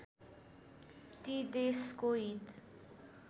ती देशको हित